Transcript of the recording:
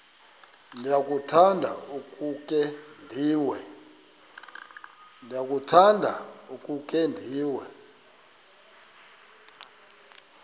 ndiyakuthanda ukukhe ndive